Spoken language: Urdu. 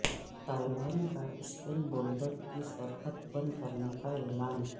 طالبان کا اسپن بولدک کی سرحد بند کرنے کا اعلان